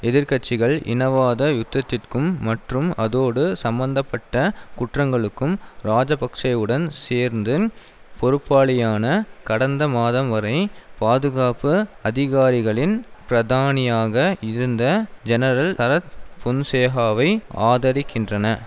எதிர் கட்சிகள் இனவாத யுத்தத்திற்கும் மற்றும் அதோடு சம்பந்த பட்ட குற்றங்களுக்கும் இராஜபக்ஷவுடன் சேர்ந்து பொறுப்பாளியான கடந்த மாதம் வரை பாதுகாப்பு அதிகாரிகளின் பிரதானியாக இருந்த ஜெனரல் சரத் பொன்சேகாவை ஆதரிக்கின்றன